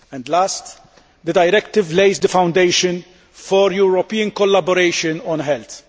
Lastly, the directive lays the foundation for European collaboration on health.